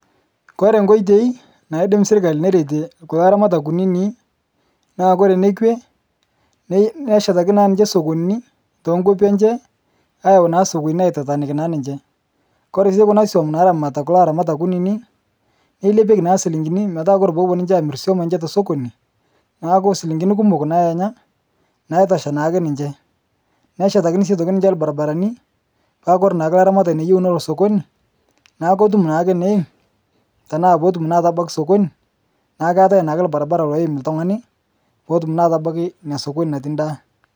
Kore nkoitoi naadim serkali nerete kulo aramatak kunini, naa kore nekwe nei neshetaki naa ninche sokonini tenkopi enche ayau naa sokonini aitatanikii naa ninche. Kore sii kuna suom naramatita kulo aramatak kunini, neilepeki naa silinkini metaa kore poopo ninche aamir swom enche tesokoni naaku silinkini kumook naa enya naitosha naake ninche. Neshetakini sii aitoki ninche lbarabarani, paaku kore naake laramatani looyeu nolo sokoni naa kotum naake neiim tanaa pootum naa atabaki sokoni. Naa keatae naake lbarbara loim ltung'ani pootum naa atabaki nia sokoni natii ndaa.